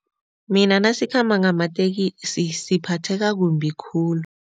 Mina nasikhamba ngamatekisi siphatheka kumbi khulu.